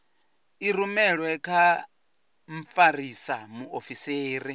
i rumelwe kha mfarisa muofisiri